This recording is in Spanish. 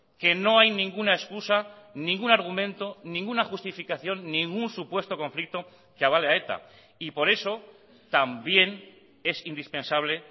que no hay ninguna excusa ningún argumento ninguna justificación ningún supuesto conflicto que avale a eta y por eso también es indispensable